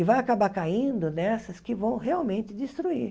E vai acabar caindo nessas que vão realmente destruir.